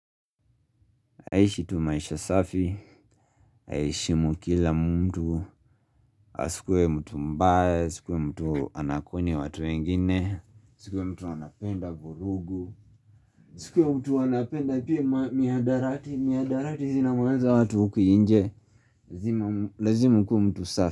Naishi tu maisha safi aheshimu kila mtu Asikue mtu mbaya Sikue mtu anakoni watu wengine Sikue mtu anapenda vurugu asikue mtu anapenda pia mihadarati Mihadarati zina maliza watu huku nje Lazima ukuemtu safi.